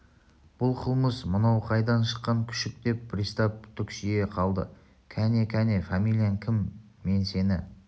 бұл қылмыс мынау қайдан шыққан күшік деп пристав түксие қалды кәне кәне фамилияң кім мен сені